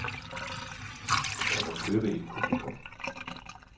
Kan man købe et publikum?